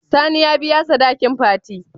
Sani ya biya sadakin fati?